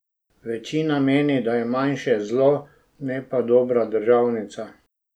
Večina meni, da je manjše zlo, ne pa dobra državnica.